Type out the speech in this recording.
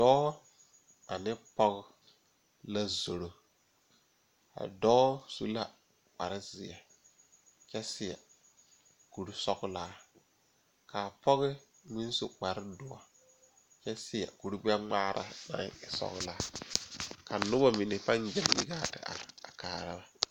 Dɔɔ ane pɔge la zoro a dɔɔ su la kpare zeɛ kyɛ seɛ kurisɔglaa kaa pɔge meŋ su kpare doɔ kyɛ seɛ kuri gbɛngmaara naŋ e sɔglaa ka nobɔ mine paŋ gyɛŋ yi gaa ti are a kaara ba.